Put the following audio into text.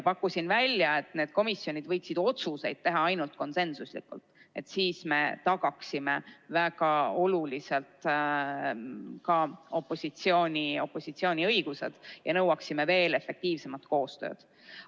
Pakkusin välja, et need komisjonid võiksid otsuseid teha ainult konsensuslikult, sest siis me tagaksime väga oluliselt ka opositsiooni õigused ja nõuaksime veel efektiivsemalt koostööd.